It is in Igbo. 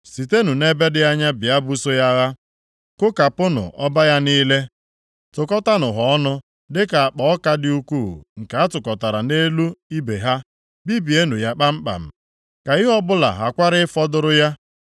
Sitenụ nʼebe dị anya bịa buso ya agha. Kụkapunụ ọba ya niile, tụkọtanụ ha ọnụ dịka akpa ọka dị ukwuu, nke atụkọtara nʼelu ibe ha. Bibienụ ya kpamkpam, ka ihe ọbụla ghakwara ịfọdụrụ ya.